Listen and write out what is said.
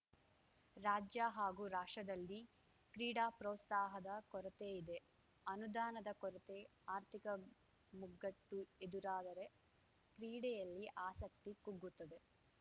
ರಾಜ್ಯ ಹಾಗೂ ರಾಷ್ಟ್ರದಲ್ಲಿ ಕ್ರೀಡಾಪ್ರೋಸ್ತಾಹದ ಕೊರತೆ ಇದೆ ಅನುದಾನದ ಕೊರತೆ ಆರ್ಥಿಕ ಮುಗ್ಗಟ್ಟು ಎದುರಾದರೆ ಕ್ರೀಡೆಯಲ್ಲಿ ಆಸಕ್ತಿ ಕುಗ್ಗುತ್ತದೆ